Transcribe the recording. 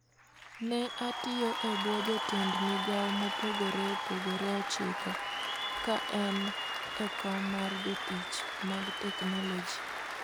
Ne otiyo e bwo jotend migao mopogore opogore ochiko ka en e kom mar jotich mag teknoloji.